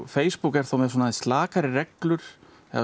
Facebook er þá með aðeins slakari reglur